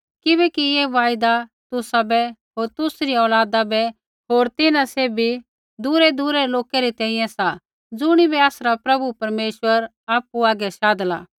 किबैकि ऐ वायदा तुसाबै होर तुसरी औलादा बै होर तिन्हां सैभी दूरैदूरै रै लोकै री तैंईंयैं सा ज़ुणिबै आसरा प्रभु परमेश्वर आपु हागै शाधला